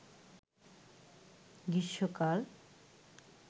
গ্রীষ্মকাল